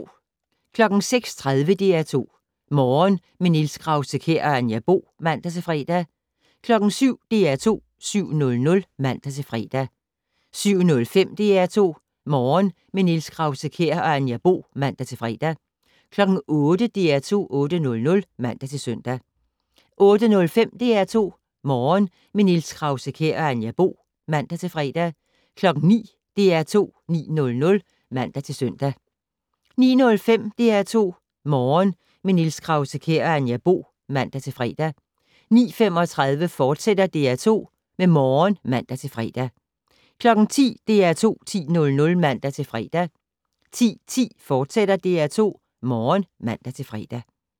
06:30: DR2 Morgen - med Niels Krause-Kjær og Anja Bo (man-fre) 07:00: DR2 7:00 (man-fre) 07:05: DR2 Morgen - med Niels Krause-Kjær og Anja Bo (man-fre) 08:00: DR2 8:00 (man-søn) 08:05: DR2 Morgen - med Niels Krause-Kjær og Anja Bo (man-fre) 09:00: DR2 9:00 (man-søn) 09:05: DR2 Morgen - med Niels Krause-Kjær og Anja Bo (man-fre) 09:35: DR2 Morgen *(man-fre) 10:00: DR2 10:00 (man-søn) 10:10: DR2 Morgen *(man-fre)